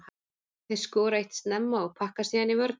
Þeir skora eitt snemma og pakka síðan í vörn.